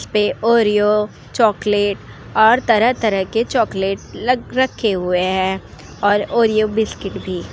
इसपे Oreo chocolate और तरह-तरह के चॉकलेट लग रखे हुए है और ओरियो बिस्कुट भी --